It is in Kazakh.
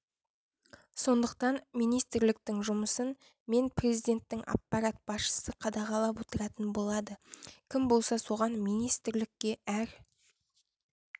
сондықтан министрліктің жұмысын мен президенттің аппарат басшысы қадағалап отыратын болады кім болса соған министрлікке әр